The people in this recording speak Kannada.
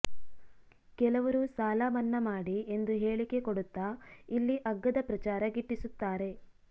ಕೆಲವರು ಸಾಲ ಮನ್ನಾ ಮಾಡಿ ಎಂದು ಹೇಳಿಕೆ ಕೊಡುತ್ತಾ ಇಲ್ಲಿ ಅಗ್ಗದ ಪ್ರಚಾರ ಗಿಟ್ಟಿಸುತ್ತಾರೆ